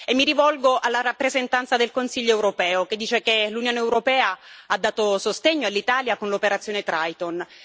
Mi rivolgo alla rappresentante del Consiglio europeo, che dice che l'Unione europea ha dato sostegno all'Italia con l'operazione Triton.